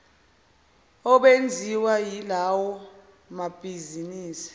obenziwa yilawo mabhizinisi